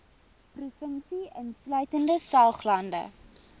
provinsie insluitende saoglande